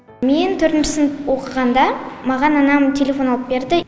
мен төртінші сынып оқығанда маған анам телефон алып берді